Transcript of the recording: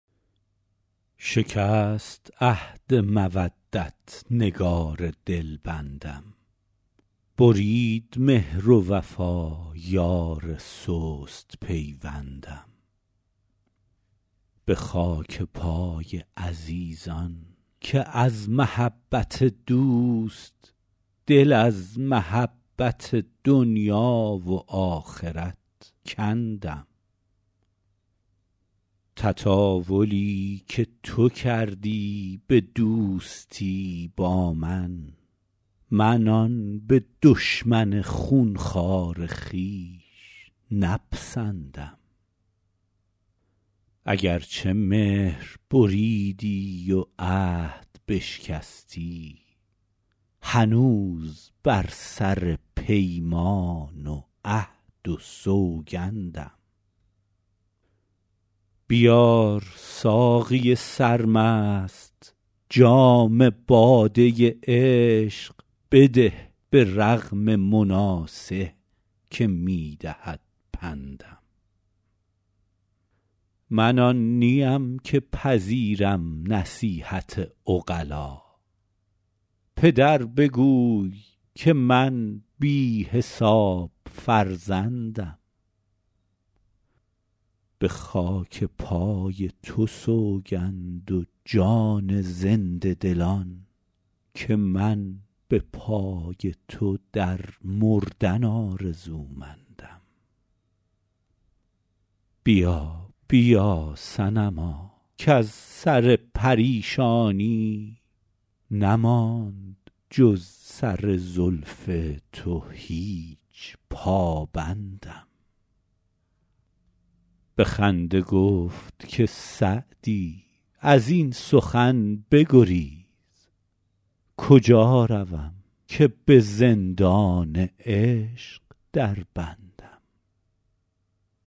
شکست عهد مودت نگار دلبندم برید مهر و وفا یار سست پیوندم به خاک پای عزیزان که از محبت دوست دل از محبت دنیا و آخرت کندم تطاولی که تو کردی به دوستی با من من آن به دشمن خون خوار خویش نپسندم اگر چه مهر بریدی و عهد بشکستی هنوز بر سر پیمان و عهد و سوگندم بیار ساقی سرمست جام باده عشق بده به رغم مناصح که می دهد پندم من آن نیم که پذیرم نصیحت عقلا پدر بگوی که من بی حساب فرزندم به خاک پای تو سوگند و جان زنده دلان که من به پای تو در مردن آرزومندم بیا بیا صنما کز سر پریشانی نماند جز سر زلف تو هیچ پابندم به خنده گفت که سعدی از این سخن بگریز کجا روم که به زندان عشق دربندم